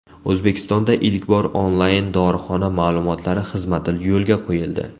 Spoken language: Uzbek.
O‘zbekistonda ilk bor onlayn dorixona ma’lumotlari xizmati yo‘lga qo‘yildi!